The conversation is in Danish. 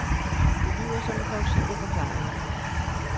Det lyder som en plausibel forklaring.